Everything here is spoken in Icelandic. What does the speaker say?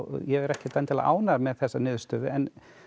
ég er ekkert endilega ánægður með þessa niðurstöðu en